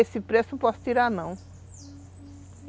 Esse preço eu não posso tirar, não.